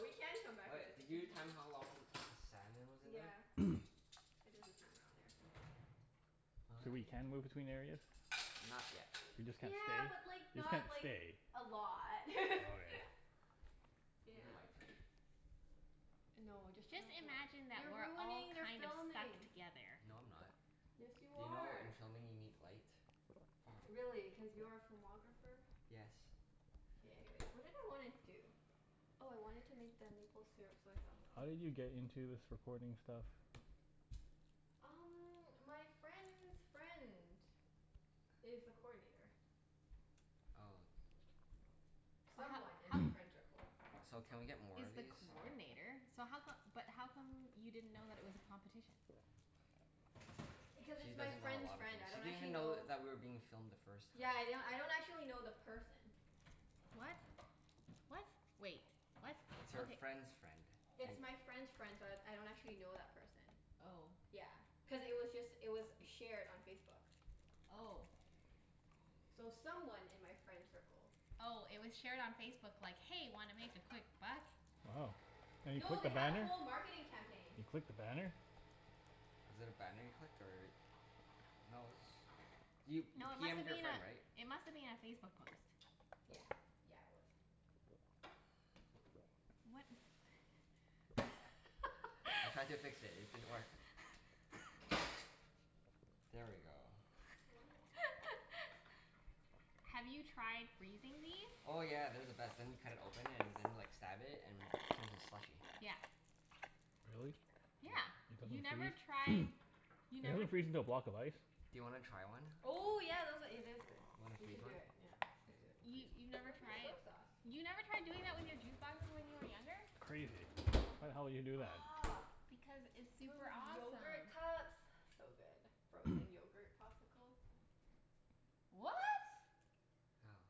we can come back All right, into the did you kitchen. time how long the salmon was in there? Yeah. K. I did the timer on there. So we can move I between areas? Not yet. We just can't Yeah, stay? but like We just can't not like stay. a lot. Okay. Is Yeah. there lights here? No, just turn Just off the light. imagine that You're we're all ruining their kind of stuck filming. together. No, I'm not. Yes, you You know in are. filming you need light? Really? Cuz you're a filmographer? Yes. Okay, anyways. What did I wanna do? Oh I wanted to make the maple syrup soy sauce thing. How did you get into this recording stuff? Um my friend's friend is the coordinator. Oh. But ho- Someone in my ho- friend tircle. So can we get more he's of the these? coordinator, so how come, but how come you didn't know that it was a competition? Because She it's my doesn't know a friend's lot of friend. things. I She don't didn't even actually know know. that we were being filmed the first time. Yeah yeah, I don't actually know the person. What? What? Wait. What? It's her Okay. friend's friend. It's my friend's friend, so I I don't actually know that person. Oh. Yeah, cuz it was just, it was shared on Facebook. Oh. So someone in my friend circle. Oh, it was shared on Facebook like, "Hey, wanna make a quick buck?" Oh. And you No, clicked they the had a banner? whole marketing campaign. You clicked the banner? Was it a banner you clicked or? No it was, you you No, it p must m'ed have your been friend right? a, it must have been a Facebook post. Yeah. Yeah, it was. What? I tried to fix it. It didn't work. There we go. What? Have you tried freezing these? Oh yeah. They're the best. Then you cut it open and then like stab it and it turns into slushy. Yeah. Really? Yeah. Yep. You It never doesn't tried, freeze? you Doesn't never it freeze into a block of ice? Do you wanna try one? Oh yeah, those a- , it is good. You wanna You freeze should do one? it. Yeah. Let's Okay. do it. We'll You freeze you've one. never Where's my tried? soy sauce? You never tried doing it with your juice boxes when you were younger? Crazy. Why the hell you would do that? Aw, Because it's do it super with awesome. yogurt cups? So good. Frozen yogurt popsicle. What? How?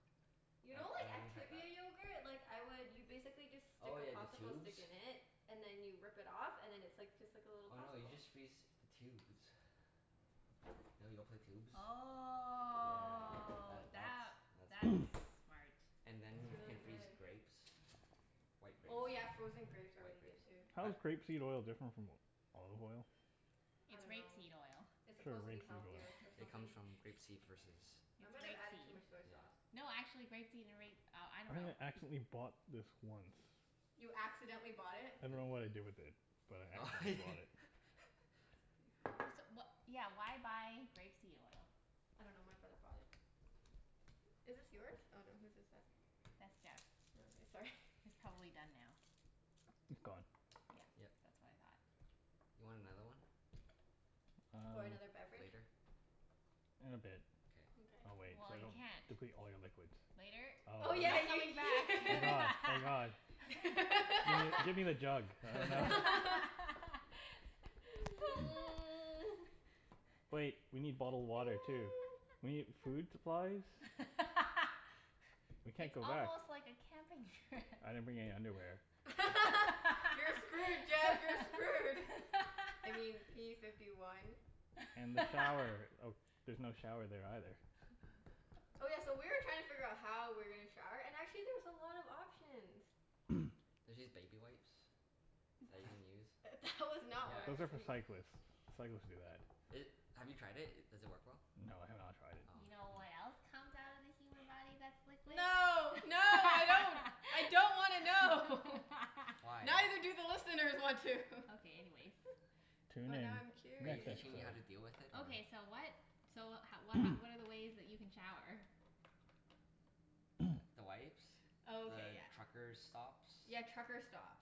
You know I I like haven't tried that. Activia yogurt? Like I would, you basically just stick Oh a yeah, the popsicle tubes? stick in it and then you rip it off and then it's like just like a little Oh no, you popsicle. just freeze the tubes. You know Yoplait tubes? Yeah, Oh that that, that's that's that's smart. And then you can freeze grapes. White grapes. Oh yeah, frozen grapes are White really good grapes. too. How I is grape seed oil different from olive oil? I It's rape dunno. seed oil. It's Sure, supposed to be rape seed healthier or oil. It something. comes from grape seed versus I It's might have rape added too seed. much soy sauce. No, actually grape seed and ra- oh, I dunno. I accidentally bought this once. You accidentally bought it? I dunno Di- what I did with it, but I accidentally bought it. That's pretty funny. So wha- yeah, why buy grape seed oil? I dunno, my brother brought it. Is this yours? Oh no, whose is it? That's Jeff's. Oh okay. Sorry. It's probably done now. It's gone. Yeah. Yep. That's what I thought. You want another one? Or Um another beverage? Later? In a bit. Okay. Mkay. I'll wait. So Well, I you don't can't. deplete all your liquids. Later? Oh Oh my yeah yeah ye- god. Oh my god. Give me give me the jug. Wait. We need bottled water too. We need food supplies. We can't It's go back. almost like a camping trip. I didn't bring any underwear. You're screwed Jeff, you're screwed. I mean p fifty one. And the shower. Oh there's no shower there either. Oh yeah, so we were trying to figure how we were gonna shower and actually there's a lot of options. There's these baby wipes that you can use. That was not what I Those was Yeah. are for think- cyclists. Cyclists do that. It, have you tried it? Does it work well? No, I have not tried it. Oh. You know Hmm. what else comes out of the human body that's liquid? No. No, I don't. I don't wanna know. Why? Neither do the listeners want to. Okay, anyways. Tune But in. now I'm Are you curious. teaching me how to deal with it or? Okay so what, so ho- wh- h- what are the ways that you can shower? The wipes. Oh okay, The yeah. trucker stops. Yeah, trucker stops.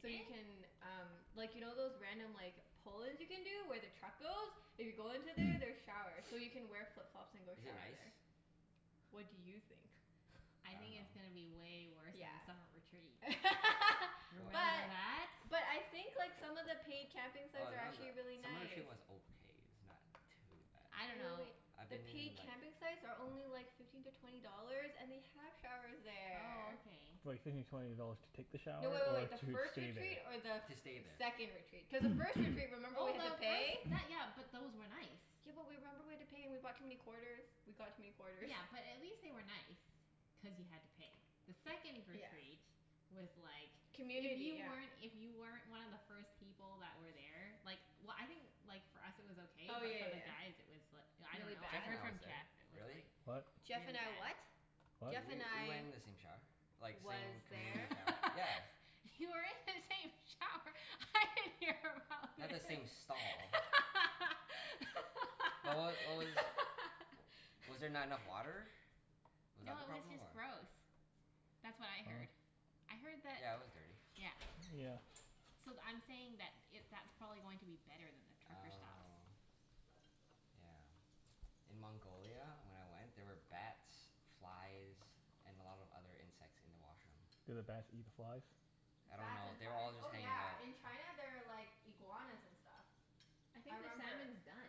So you can um, like you know those random like pull-ins you can do where the truck goes? If you go into there there's showers, so you can wear flip-flops and go Is it shower nice? there. What do you think? I think I it's going to dunno. be way worse Yeah. than the summer retreat. Remember What But that? but I think like some of the paid camping Well, sites are not actually the, really some of the nice. was okay. It's not too bad. I dunno. I've The been in paid like camping sites are only like fifteen to twenty dollars and they have showers Oh there. okay. Like fifteen to twenty dollars to take the shower No, wait wait or wait. The to first stay retreat there? or the To stay th- there. second retreat? Cuz the first retreat remember we Oh had to no, pay? those, that, yeah, but those were nice. Yeah but w- remember we had to pay and we brought too many quarters? We got too many quarters. Yeah, but at least they were nice, cuz you had to pay. The second Yeah. retreat was like, if Community, you yeah. weren't, if you weren't one of the first people that were there Like w- I think like for us it was okay Oh but for yeah the yeah guys it was l- I yeah. Really dunno, I Jeff bad? and heard I was from there. Jeff it was Really? like What? Jeff really and I bad. what? W- Jeff and we went I in the same shower. Like Was same there? community shower. Yeah. You were in the same shower? I didn't hear about Not the this. same stall. But what w- what was, was there not enough water? Was that No, the it was problem? just Or gross. That's what I heard. Oh. I heard that, Yeah, it was dirty. yeah. Yeah. So th- I'm saying that it, that's probably going to be better than the trucker stops. Oh. Yeah. In Mongolia when I went, there were bats, flies, and a lot of other insects in the washroom. Did the bats eat the flies? I don't Bats know. and They were flies? all just Oh hanging out. yeah, in China there are like iguanas and stuff. I I think the remember salmon's done,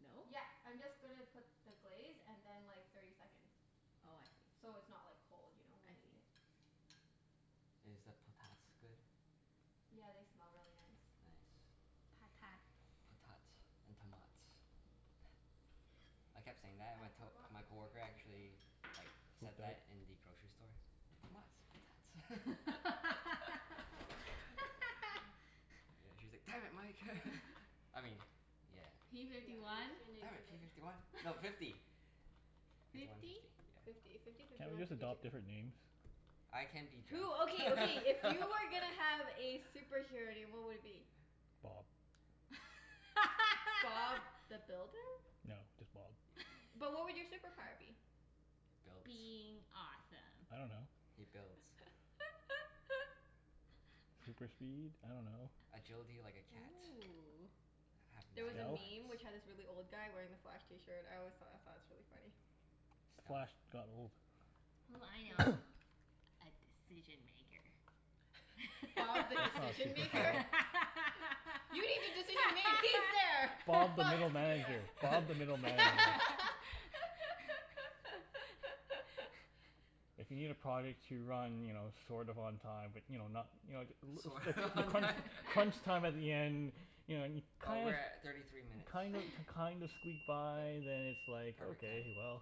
no? Yep, I'm just gonna put the glaze and then like thirty seconds. Oh, I see. So it's not like cold, you know, when I we eat see. it? Is the potats good? Yeah, they smell really nice. Nice. Patats. Potats and tomats. I kept saying that and I my to- forgot my the green coworker onion though. actually like said that in the grocery store. Tomats. Potats. Yeah, she was like, "Damn it, Mike." I mean, yeah. P Yeah fifty one? Damn give it. P it. fifty one. No, fifty. Fifty one, Fifty? fifty. Yeah. Fifty. Fifty, fifty Can't we one, just fifty two. adopt different names? I can be Jeff. Who, okay, okay, if you were gonna have a superhero name what would it be? Bob. Bob the Builder? No, just Bob. But what would your superpower be? Builds. Being awesome. I don't know. He builds. Super speed? I dunno. Agility like a cat. Ooh. Have There nine was a lives. Stealth? meme which had this really old guy wearing the Flash t-shirt. I always thought, I thought it was really funny. Stealth? Flash got old. Ooh, I know. A decision maker. That's Bob the not a Decision Maker? superpower. You need a decision made? He's there! Bob the Bob's middle manager. Bob the middle manager. If you need a project to run, you know, sort of on time, but you know, not You know t- Sort of l- on t- time? crunch time at the end You know and Oh, kind we're of at thirty three minutes. kind of kind of squeak by then it's like, Perfect okay, timing. well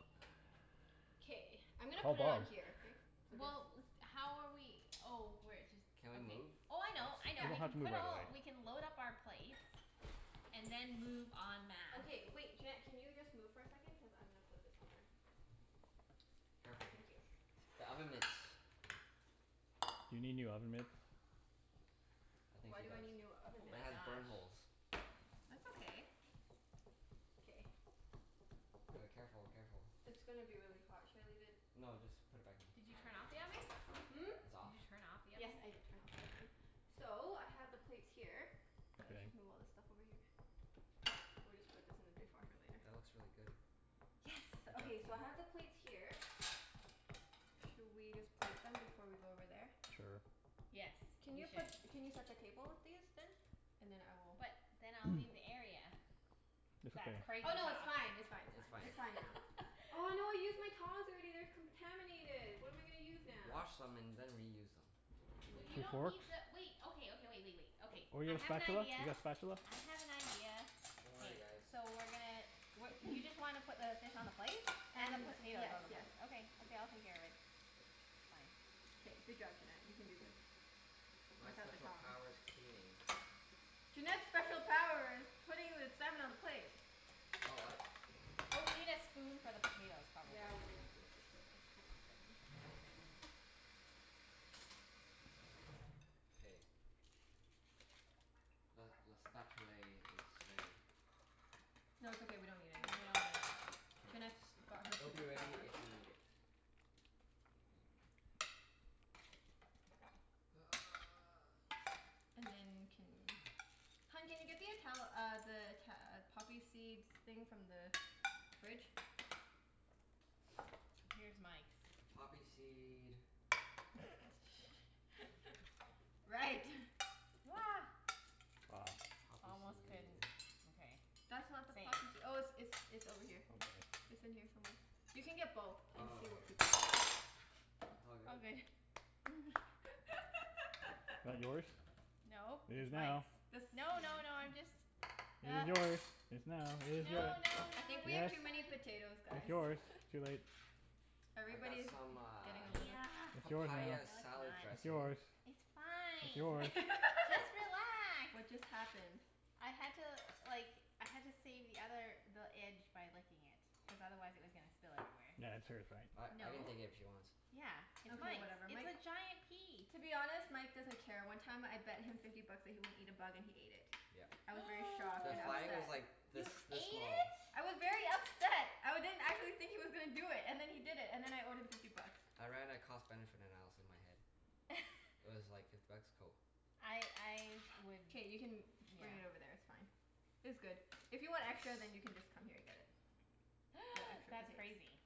K, I'm gonna Call put it Bob. on here, okay? So just Well, with, how are we oh, we're jus- Can we okay. move Oh I spots? know, I We know, Yep. don't we have can to move put right all, away. we can load up our plates and then move en masse. Okay wait, Junette can you just move for a second? Cuz I'm gonna put this on there. Ah Careful. thank you. The oven mitts. You need new oven mitts? I think Why she do I does. need new oven Oh It mitts? my has burn gosh. holes. That's okay. K. D- careful, careful. It's gonna be really hot. Should I leave it No, just put it back in. Did you turn off the oven? Hmm? It's off? Did you turn off the Yes, oven? I did turn off the oven. So, I have the plates here. Let's just move K. all this stuff over here. We'll just put this in the dishwasher later. That looks really good. Yes. Good job, Okay, team. so I have the plates here. Should we just plate them before we go over there? Sure. Yes, Can we you put, should. can you set the table with these then? And then I will But then I'll leave the area. It's That's okay. crazy Oh no, it's talk. fine, it's fine, it's It's fine. fine. It's fine now. Oh no, I used my tongs already. They're contaminated. What am I gonna use now? Wash them and then reuse them. Well you Two don't forks? need to wait, okay, okay, wait wait wait. Okay. Or you I got a have an spatula? idea. You got a spatula? I have an idea. Don't K. worry guys. So we're gonna w- you just want to put the fish on the plate? And the And, potatoes yes, on the yes. plate? Okay. Okay, I'll take care of it. Fine. K, good job Junette. You can do this. My Without the special tongs. power's cleaning. Junette's special power is putting the salmon on a plate. Oh, what? Oh, we need a spoon for the potatoes probably. Yeah, we need a spoon for the potatoes. Hold on a second. K. Le le spatulay is ready. No, it's okay, we don't need it No, anymore. we don't need it. K. Junette's got her It'll be super ready power. if you need it. And then can, hun can you get the Ital- uh the Ita- uh poppy seeds thing from the fridge? Here's Mike's. Poppy seed Right. Ah. Poppy Almost seed couldn't, okay. That's not the Saved. poppysee- oh it's it's it's over here. It's in here somewhere. You can get both and Oh, see what here. people want. It all All good. good. That yours? No, It is it's now. Mike's. The No, no, no, I'm just It is yours. It's now. It is yours. No, no, I no, think we no, have Yes. it's too many fine. potatoes It's guys. yours. Too late. I got Everybody's some getting uh a little Yeah. It's yours now. papaya No, it's salad not. It's dressing. yours. It's It's fine. yours. Just relax. What just happened? I had to like, I had to save the other, the edge by licking it. Cuz otherwise it was gonna spill everywhere. That's hers, right? I I can No. take it if she wants. Yeah, it's Okay Mike's. whatever. It's Mike, a giant piece. to be honest, Mike doesn't care. One time I bet him fifty bucks that he wouldn't eat a bug and he ate it. Yep. I was very shocked The and fly was upset. like this You ate this small. it? I was very upset. I didn't, I didn't think he was gonna do it, and then he did it. And then I owed him fifty bucks. I ran a cost benefit analysis in my head. It was like, fifty bucks? Cool. I I would, K, you can yeah. bring it over there, it's fine. It's good. If you want extra Yes. then you can just come here and get it. That's crazy.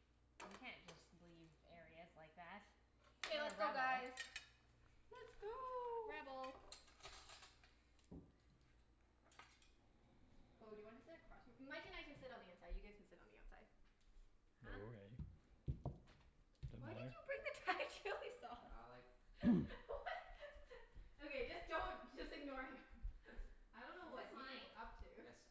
You can't just leave areas like that. Okay What a let's go rebel. guys. Let's go. Rebel. Oh, do you want to sit across from, Mike and I can sit on the inside. You guys can sit on the outside. Huh? Why did you bring the Thai chili sauce? I like chili. What? Okay, just don't, just ignore him. I don't know Is what this he's mine? up to. Yes.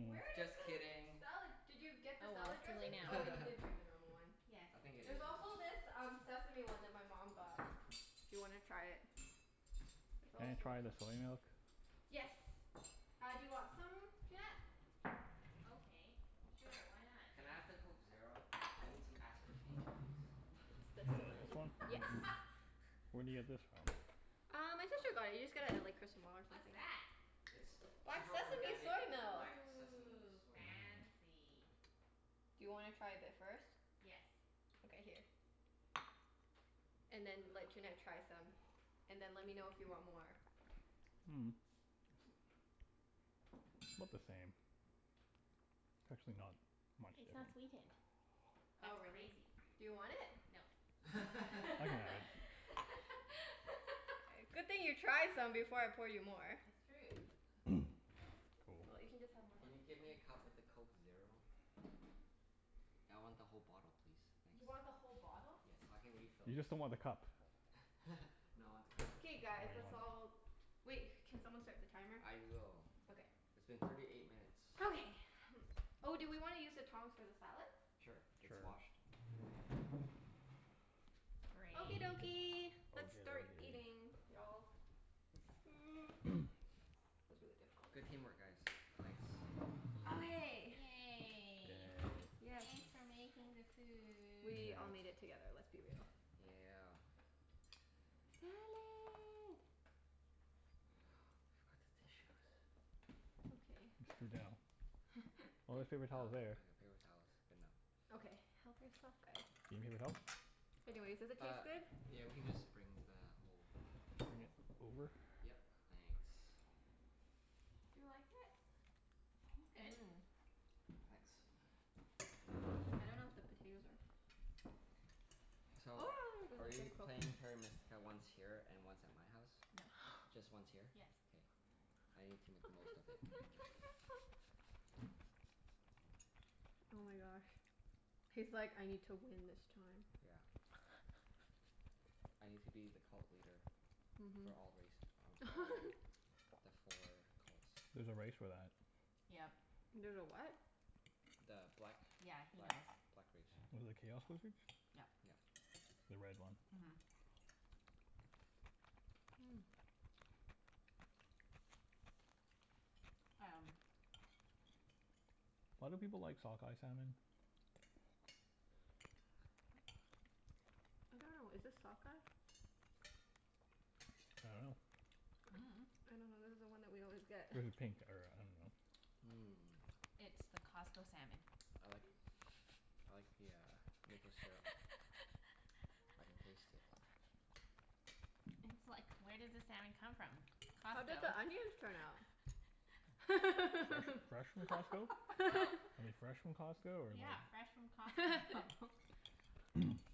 Where did Just the kidding. salad, did you get the Oh well, salad it's too late dressing? now. Oh, you did bring the normal one. Yes. I think it There's is yours. also this um sesame one that my mom got. If you wanna try it. There's Can all I try the sorts of soy milk? Yes. Uh do you want some, Junette? Okay, sure. Why not? Can I have the Coke Zero? I need some aspartame please. It's You this like this one. one? Yes. Where do you get this from? Uh, my sister got it. You just get a like or What's something. that? It's Black super sesame organic soy milk. black sesame Ooh, soy milk. Mmm. fancy. Do you wanna try a bit first? Yes. Okay, here. And then let Junette try some. And then let me know if you want more. Mm. 'Bout the same. It's actually not much It's not different. sweetened. Oh, That's really? crazy. Do you want it? No. I can have it. Good thing you tried some before I poured you more. It's true. Well, you Cool. can just have my Can lemon you tea get me then. a cup with a Coke Zero? I want the whole bottle please. Thanks. You want the whole bottle? Yes, so I can refill You it. just don't want the cup. No, I want the cup too. K guys, let's You want all, it. wait, can someone start the timer? I will. Okay. It's been thirty eight minutes. Okay. Oh, do we wanna use the tongs for the salad? Sure, it's Sure. washed. Okay. Okie Great. dokie, let's start eating y'all. Mm, was really difficult. Good team work guys. Thanks. Okay. Yay. Yay. Yes. Thanks for making the food. We all made Yeah. it together. Let's be real. Yeah. Salad. We forgot the tissues. It's okay. Oh, there's Oh, I got paper paper towels there. towels. Good enough. Okay, help yourself guys. You need paper towel? Anyways, does it Uh, taste good? yeah we can just bring the whole Okay. roll. Over? Yep. Thanks. Do you like it? It's good. Mmm. Thanks. I don't know if the potatoes are So are we playing Terra Mystica once here and once at my house? No. Just once here? Yes. K. I need to make the most of it. Oh my gosh. He's like, "I need to win this time." Yeah. I need to be the cult leader for Mhm. all race or for all the four cults. There's a race for that. Yep. There's a what? The black Yeah, he black knows. black race. The chaos wizards? Yep. Yep. The red one. Mhm. Mm. Um Why do people like sockeye salmon? I don't know. Is this sockeye? I dunno. I don't know. This is the one that we always get. This is pink or I dunno. Mmm. It's the Costco salmon. I like I like the uh maple syrup. I can taste it. It's like, where does the salmon come from? How did Costco. the onions turn out? Fresh fresh from Costco? Are they fresh from Costco or like Yeah, fresh from Costco.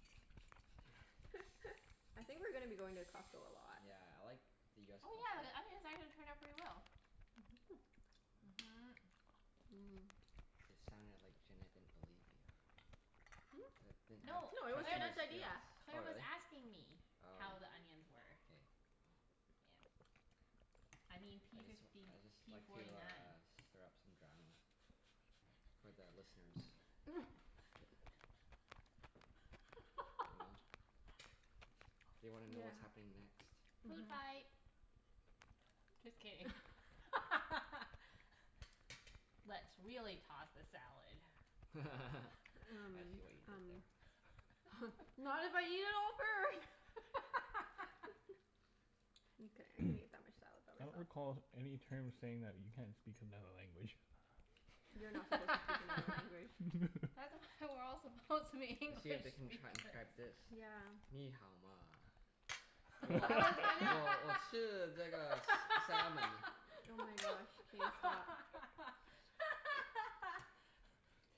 I think we're gonna be going to Costco a lot. Yeah, I like the US Oh yeah, the Costco. onions actually turned out pretty well. Mhm. Mmm. It sounded like Junette didn't believe you. That didn't Hmm? have No, No, it was trust Claire in your was, Junette's idea. skills. Claire Oh was really? asking me Oh. how the onions were. K. Yeah. I mean I p just w- fifty I just p like to forty nine. uh stir up some drama. For the listeners. You know? They wanna know Yeah. what's happening next. Food Mhm. fight. Just kidding. Let's really toss the salad. I Um see what you did um there. Not if I eat it all first. Mkay, I can eat that much salad I by don't myself. recall any terms saying that you can't speak another language. You're not supposed to speak another language. That's why we're all supposed to be English See if they can transcribe speakers. this. Nǐ hǎo ma? I was gonna salmon. Oh my gosh, K, stop.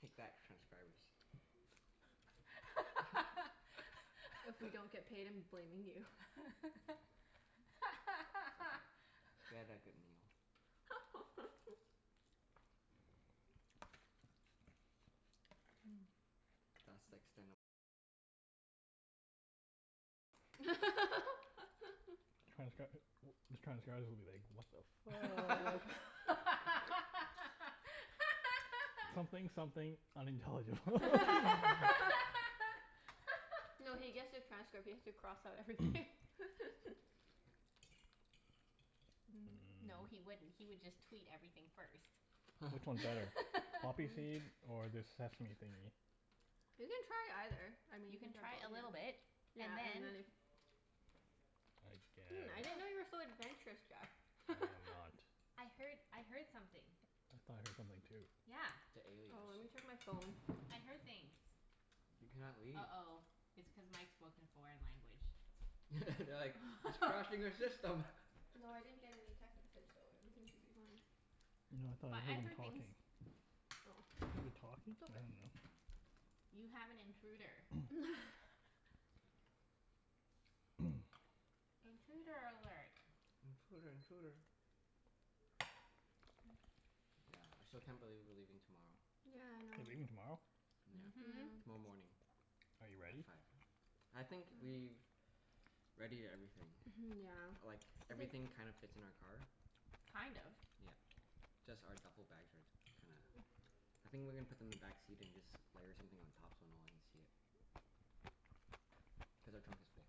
Take that, transcribers. If we don't get paid I'm blaming you. It's okay. We had that good meal. Mmm. Transcr- these transcribers will be like, "What the fuck?" "Something something, unintelligible." No, he gets the transcript. He has to cross out everything. Mmm. No, he Mmm. wouldn't. He would just tweet everything first. Which one's better? Poppy Mm. seed or this sesame thingie? You can try either. I mean You you can can try try a both, little bit yeah and and then then if I Hmm, I didn't know guess. you were so adventurous, I Jeff. am not. I heard I heard something. I thought I heard something too. Yeah. The Oh, let aliens. me check my phone. I heard things. You cannot leave. uh-oh, it's cuz Mike spoke in a foreign language. They're like, "He's crashing our system." No, I didn't get any text message so everything should be fine. No, I thought I But heard I him heard talking. things. Oh. Hear the talking? I dunno. You have an intruder. Intruder alert. Intruder intruder. Yeah, I still can't believe we're leaving tomorrow. Yeah, I You're know. leaving tomorrow? Yeah. Mhm. Yeah. Tomorrow morning. Are you At ready? five. I think we've readied everything. Mhm, yeah. Like, everything kind of fits in our car. Kind of? Yeah. Just our duffle bags are t- kinda, I think we're gonna put them in the backseat and just layer something on top so no one can see it. Cuz our trunk is full.